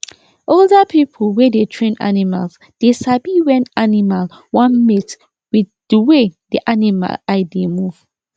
older people wey dey train animals dey sabi when animal wan mate wig di wey di animal eye dey move